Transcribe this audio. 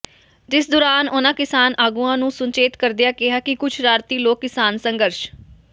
ਜਿਸ ਦੌਰਾਨ ਉਨ੍ਹਾਂ ਕਿਸਾਨ ਆਗੂਆਂ ਨੂੰ ਸੁਚੇਤ ਕਰਦਿਆਂ ਕਿਹਾ ਕਿ ਕੁਝ ਸ਼ਰਾਰਤੀ ਲੋਕ ਕਿਸਾਨ ਸੰਘਰਸ਼